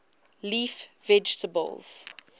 leaf vegetables